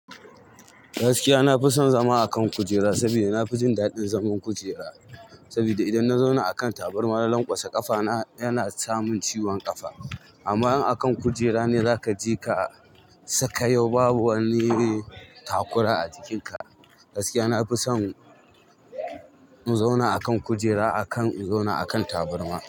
Gaskiya na fi son zama akan kujera saboda na fi jin daɗin zaman kujera. Saboda idan na zauna akan tabarmar, na lanƙwasa ƙafa na yana samin ciwon ƙafa. Amma in akan kujera ne za ka je ka saka yau babu wani takura a jikin ka. Gaskiya na fi son in zauna akan kujera akan in zauna akan tabarma.